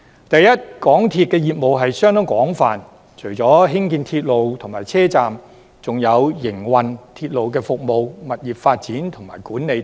首先，港鐵公司業務相當廣泛，除了興建鐵路及車站，還有營運鐵路服務、物業發展及管理等。